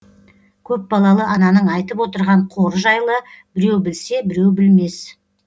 көпбалалы ананың айтып отырған қоры жайлы біреу білсе біреу білмес